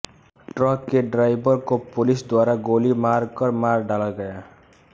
truck के driver को police द्वारा गोली मार कर मार डाला गया